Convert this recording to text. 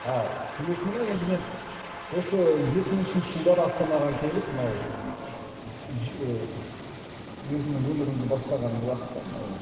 ааа темекіні ме енді мен осы екі мың үшінші жылдары астанаға келіп мынау ыыы ііі өзімнің өмірімді бастаған уақытта мынау